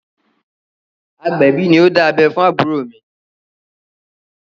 Agbẹ̀bí ni ó dá abẹ́ fún àbúrò mi.